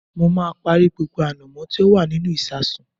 Mo máa parí gbogbo ànàmọ́ tí ó wà nínú ìsasùn